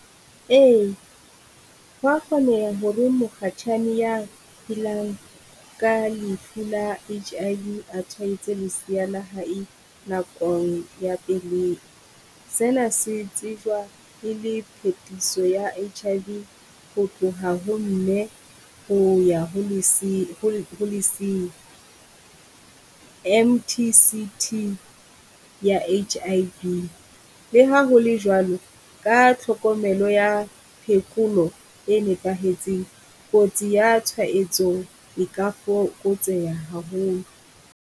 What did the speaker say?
Eya hwa kgoneha hore mokgatjhane ya phelang ka lefu la H_I_V a tshwaetse lesea la hae nakong ya pelehi. Sena se tsejwa e le phetiso ya H_I_V ho tloha ho mme ho ya ho ho le ho lesea M_T_C_T ya H_I_V. Le ha ho le jwalo ka tlhokomelo ya phekolo e nepahetseng, kotsi ya tshwaetso e ka fokotseha haholo.